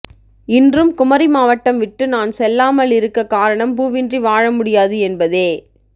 இன்றும் குமரிமாவட்டம் விட்டு நான் செல்லாமலிருக்கக் காரணம் பூவின்றி வாழமுடியாது என்பதே